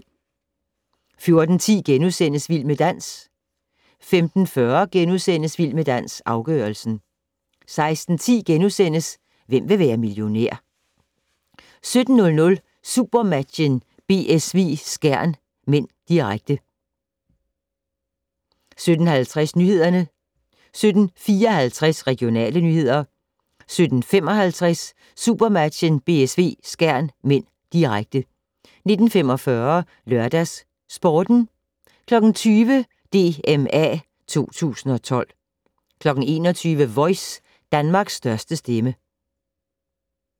14:10: Vild med dans * 15:40: Vild med dans - afgørelsen * 16:10: Hvem vil være millionær? * 17:00: SuperMatchen: BSV-Skjern (m), direkte 17:50: Nyhederne 17:54: Regionale nyheder 17:55: SuperMatchen: BSV-Skjern (m), direkte 19:45: LørdagsSporten 20:00: DMA 2012 21:00: Voice - Danmarks største stemme